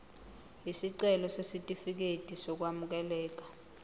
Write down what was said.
isicelo sesitifikedi sokwamukeleka